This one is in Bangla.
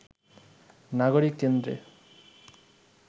নাগরিক কেন্দ্রে